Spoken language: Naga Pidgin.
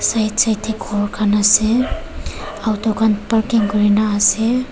side side tey ghor khan ase auto khan parking kurina ase.